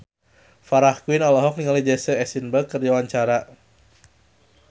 Farah Quinn olohok ningali Jesse Eisenberg keur diwawancara